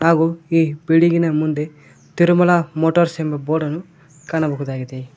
ಹಾಗೂ ಈ ಬಿಲ್ಡಿಂಗಿನ ಮುಂದೆ ತಿರುಮಲ ಮೋಟರ್ಸ್ ಎಂಬ ಬೋಡನ್ನು ಕಾಣಬಹುದಾಗಿದೆ.